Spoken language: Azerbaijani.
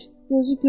Gözü görmür.